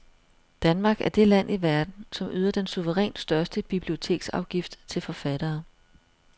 Danmark er det land i verden, som yder den suverænt største biblioteksafgift til forfattere.